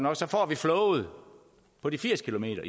og så får vi flowet på de firs kilometer